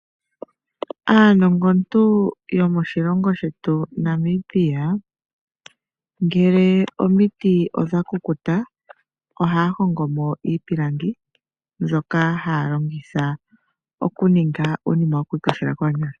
Aanongontu yomoshilongo shetu Namibia, ngele omiti odha kukuta ohaa hongo mo iipilangi mbyoka haa longitha okuninga uunima wo ku ikoshela koonyala.